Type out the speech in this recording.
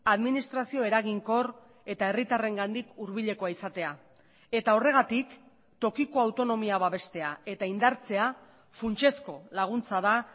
administrazio eraginkor eta herritarrengandik hurbilekoa izatea eta horregatik tokiko autonomia babestea eta indartzea funtsezko laguntza da